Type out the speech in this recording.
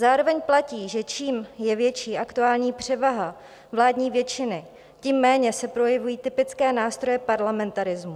Zároveň platí, že čím je větší aktuální převaha vládní většiny, tím méně se projevují typické nástroje parlamentarismu.